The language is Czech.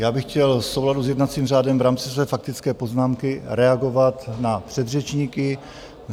Já bych chtěl v souladu s jednacím řádem v rámci své faktické poznámky reagovat na předřečníky.